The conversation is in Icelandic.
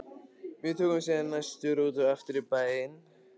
Við tókum síðan næstu rútu aftur í bæinn.